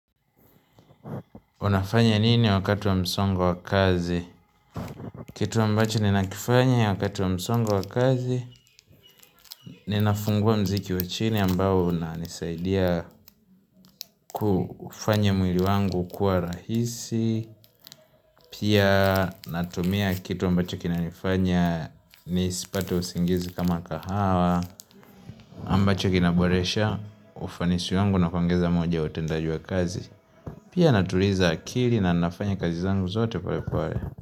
Unafanya nini wakati wa msongo wa kazi? Kitu ambacho ninakifanya wakati wa msongo wa kazi, ninafungua muziki wa chini ambao unanisaidia kufanya mwili wangu kuwa rahisi, pia natumia kitu ambacho kinanifanya nisipate usingizi kama kahawa, ambacho kina boresha, ufanisi wangu na kuongeza moja utendaji wa kazi, pia natuliza akili na nafanya kazi zangu zote polepole.